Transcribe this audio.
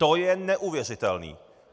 To je neuvěřitelné.